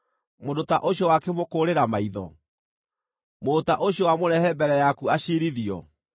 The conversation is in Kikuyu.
Mũndũ ta ũcio wakĩmũkũũrĩra maitho? Mũndũ ta ũcio wamũrehe mbere yaku aciirithio?